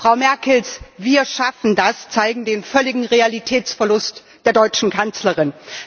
Frau Merkels Wir schaffen das zeigt den völligen Realitätsverlust der deutschen Kanzlerin.